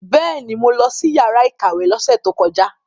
Bẹ́ẹ̀ni, mo lọ sí yàrá ìkàwé lọ́sẹ̀ tó kọjá.